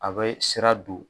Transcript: A bɛ sira don